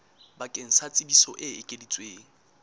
bakeng sa tsebiso e ekeditsweng